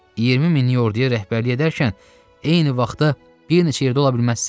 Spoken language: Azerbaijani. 20 minlik orduya rəhbərlik edərkən eyni vaxtda bir neçə yerdə ola bilməzsən.